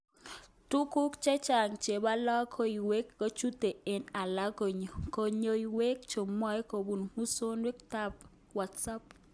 Tuguk chechang chebo logoiwek kochutege ak alak logoiwek chemwoe kobun musoknotet tab Whatsapp.